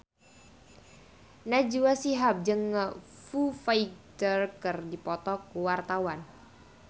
Najwa Shihab jeung Foo Fighter keur dipoto ku wartawan